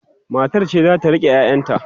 matar ce zata rike ƴaƴan ta